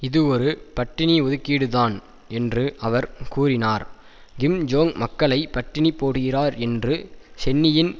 இது ஒரு பட்டினி ஒதுக்கீடுதான் என்று அவர் கூறினார் கிம் ஜோங் மக்களை பட்டினி போடுகிறார் என்று சென்னியின்